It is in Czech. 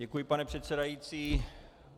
Děkuji, pane předsedající.